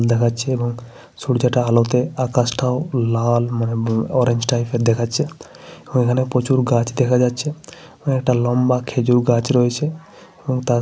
সূর্যটা আলোতে আকাশটাও লাল মোয়ে অরেঞ্জ টাইপের দেখাচ্ছে। ও এখানে প্রচুর গাছ দেখা যাচ্ছে। এবং একটা লম্বা খেজুর গাছ রয়েছে। এবং তার সাইডে একটা ব্যানার পোস্টার লাগানো রয়ে--